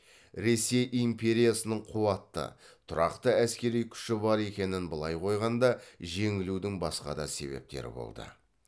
ресей империясының қуатты тұрақты әскери күші бар екенін былай қойғанда жеңілудің басқа да себептері болды